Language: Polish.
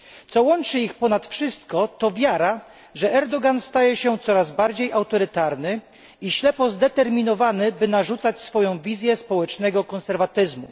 Co łączy ich ponad wszystko to wiara, że Erdogan staje się coraz bardziej autorytarny i ślepo zdeterminowany, by narzucać swoją wizję społecznego konserwatyzmu.